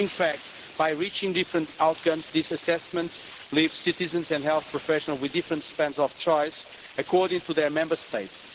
In fact, by reaching different outcomes, these assessments leave citizens and health professionals with different spans of choice, according to their Member States.